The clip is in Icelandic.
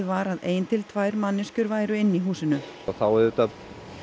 var að ein til tvær manneskjur væru inni í húsinu og þá auðvitað